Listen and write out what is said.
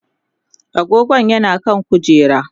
agogon yana kan kujera